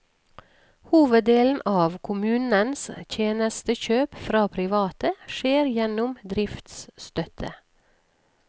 Hoveddelen av kommunens tjenestekjøp fra private, skjer gjennom driftsstøtte.